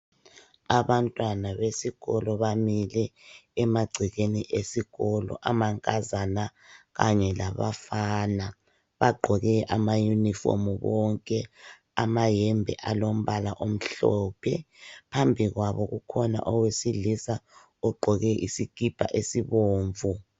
Abantwana besikolo bamile emagcekeni esikolo. Amankazana kanye labafana bagqoke amauniform bonke, amahembe alombala amhlophe. Phambi kwabo kukhona owesilisa ogqoke isikhipha esibomvu.